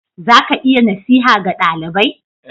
Za ka iya nasiha ga dalibai?